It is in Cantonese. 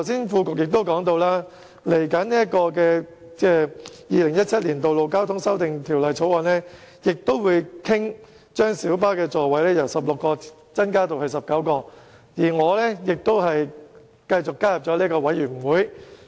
副局長剛才也提到，接下來的《2017年道路交通條例草案》亦會討論把公共小巴的座位數目由16個增至19個，而我亦再次加入了有關法案委員會。